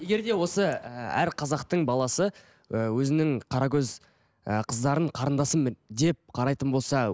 егерде осы ііі әр қазақтың баласы ііі өзінің қара көз ыыы қыздарын қарындасым деп қарайтын болса